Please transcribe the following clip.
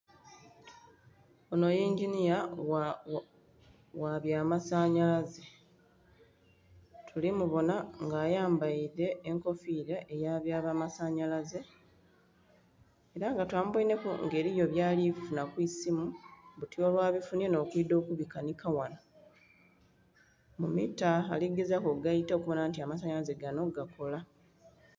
Onho inginia gha bya masanhalaaze tuli mubonha nga ayambaile enkofila eyaba bya masanhalaaze, ela nga twamuboinheku nga alinha byali funha ku isimu, buti olwabifinie nh'okuidha okubikanhika ghanho. Mu mita ali gezaku okugaita okubonha nti amasanhalaze ganho gakola.